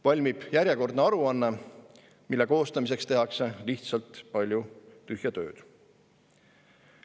Valmib järjekordne aruanne, mille koostamiseks tehakse lihtsalt palju tühja tööd.